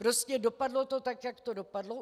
Prostě dopadlo to tak, jak to dopadlo.